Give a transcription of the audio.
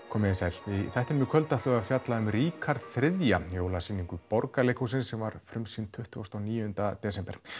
komiði sæl í þættinum í kvöld ætlum við að fjalla um Ríkjarð þrjú jólasýningu Borgarleikhússins sem var frumsýnd tuttugasta og níunda desember